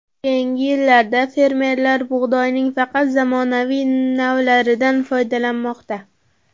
Keyingi yillarda fermerlar bug‘doyning faqat zamonaviy navlaridan foydalanmoqda.